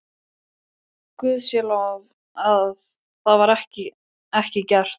Guði sé lof að það var ekki gert.